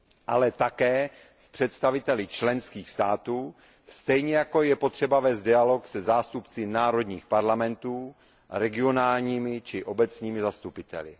ale také s představiteli členských států, stejně jako je potřeba vést dialog se zástupci národních parlamentů, regionálními či obecními zastupiteli.